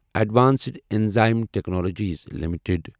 advanced enzyme technologies limited